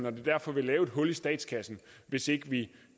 og det derfor vil lave et hul i statskassen hvis ikke vi